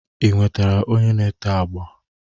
Ị nwetara onye na-ete agba?